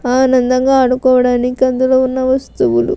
ఆనందంగా ఆదుకోవడానికి అందులో ఉన్న వస్తువులు --